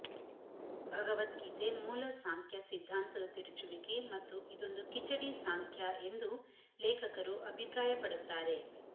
ಭಗವದ್ಗೀತೆ ಮೂಲ ಸಾಂಖ್ಯ ಸಿದ್ಧಾಂತದ ತಿರುಚುವಿಕೆ ಮತ್ತು ಇದೊಂದು ಕಿಚಡಿ ಸಾಂಖ್ಯ ಎಂದೂ ಲೇಖಕರು ಅಭಿಪ್ರಾಯಪಡುತ್ತಾರೆ